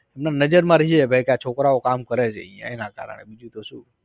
ના નજરમાં રે કે ભાઈ છોકરાવઓ કામ કરે છે એના કારણે બીજું તો શું